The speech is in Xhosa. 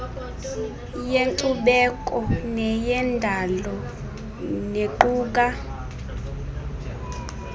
yenkcubeko neyendalo nequka